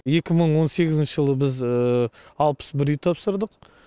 екі мың он сегізінші жылы біз алпыс бір үй тапсырдық